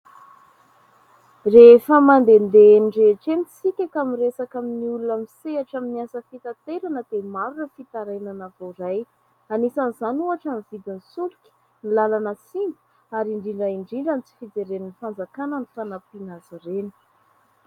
Rehefa mandehandeha eny rehetra isika ka miresaka amin'ny olona misehatra amin'ny asa fitaterana dia maro ireo fitarainana voaray. Anisan'izany ohatra ny vidin'ny solika, ny lalana simba ary indrindra indrindra ny tsy fijeren'ny fanjakana ny fanampiana azy ireny.